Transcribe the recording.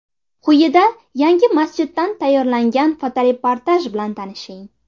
Quyida yangi masjiddan tayyorlangan fotoreportaj bilan tanishing.